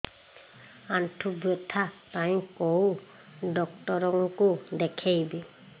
ଆଣ୍ଠୁ ବ୍ୟଥା ପାଇଁ କୋଉ ଡକ୍ଟର ଙ୍କୁ ଦେଖେଇବି